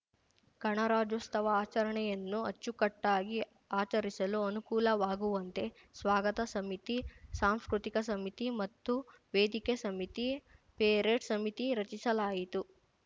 ಗಣರಾಜ್ಯೋತ್ಸವ ಆಚರಣೆಯನ್ನು ಅಚ್ಚುಕಟ್ಟಾಗಿ ಆಚರಿಸಲು ಅನುಕೂಲವಾಗುವಂತೆ ಸ್ವಾಗತ ಸಮಿತಿ ಸಾಂಸ್ಕೃತಿಕ ಸಮಿತಿ ಮತ್ತು ವೇದಿಕೆ ಸಮಿತಿ ಪೆರೇಡ್‌ ಸಮಿತಿ ರಚಿಸಲಾಯಿತು